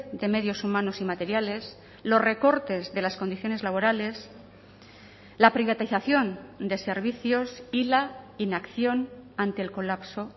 de medios humanos y materiales los recortes de las condiciones laborales la privatización de servicios y la inacción ante el colapso